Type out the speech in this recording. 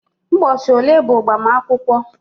Ụbọchị ole bụ mgbamakwukwo